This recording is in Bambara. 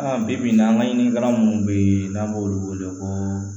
Bi bi in na an ka ɲininka munnu be yen n'an b'olu wele ko